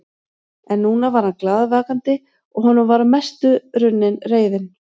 En núna var hann glaðvakandi og honum var að mestu runnin reiðin.